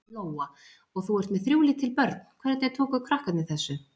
Lóa: Og þú ert með þrjú lítil börn, hvernig tóku krakkarnir þessu?